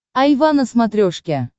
айва на смотрешке